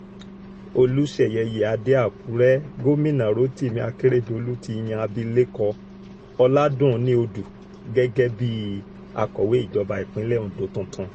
olùsẹ̀yẹ iyíáde àkúrẹ́ gómìnà rotimi akérèdọ́lù ti yan abilékọ ọládúnni odù gẹ́gẹ́ bíi akọ̀wé ìjọba ìpínlẹ̀ ondo tuntun